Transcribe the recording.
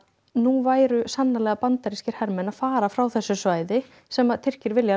nú væru sannarlega bandarískir hermenn að fara frá þessu svæði sem Tyrkir vilja